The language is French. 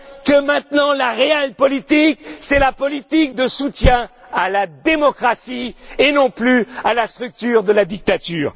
que maintenant la realpolitik, c'est la politique de soutien à la démocratie et non plus à la structure de la dictature.